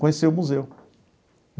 Conhecer o museu.